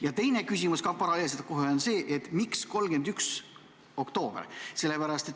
Ja teine küsimus ka kohe: miks 31. oktoober?